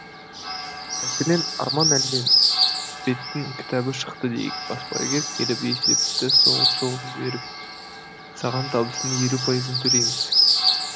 мәселен арман әлменбеттің кітабы шықты дейік баспагер келіп есепті соғып соғып жіберіп саған табыстың елу пайызын төлейміз